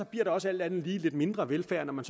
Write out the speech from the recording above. bliver der også alt andet lige lidt mindre velfærd når man